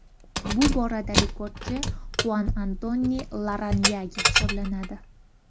Bu borada rekordchi Xuan Antoni Larranyage hisoblanadi.